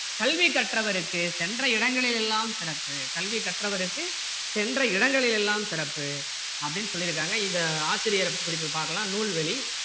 கல்வி கற்றவருக்கு சென்ற இடங்களில் எல்லாம் சிறப்பு கல்வி கற்றவருக்கு சென்ற இடங்களில் எல்லாம் சிறப்பு அப்படின்னு சொல்லிருக்காங்க இது ஆசிரியர் குறிப்பு பார்க்கலாம் நூல்வழி